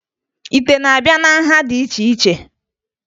Ite na-abịa na nha dị iche iche